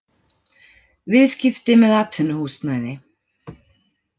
Viðskipti með atvinnuhúsnæði